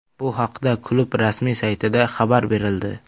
Bu haqda klub rasmiy saytida xabar berildi.